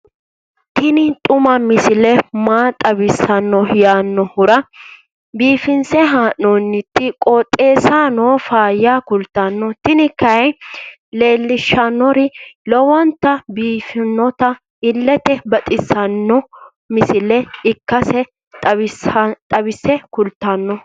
tini xuma misile maa xawissanno yaannohura biifinse haa'noonniti qooxeessano faayya kultanno tini kayi leellishshannori lowonta biiffinota illete baxissanno misile ikkase xawisse kultanno.